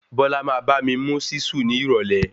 Bọ́lá máa bá mi mú ṣíṣù ní ìrọ̀lẹ́.